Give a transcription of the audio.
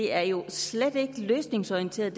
er jo slet ikke løsningsorienteret